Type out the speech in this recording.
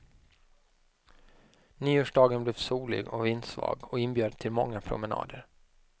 Nyårsdagen blev solig och vindsvag och inbjöd till många promenader.